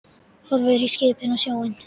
Horfir á skipin og sjóinn.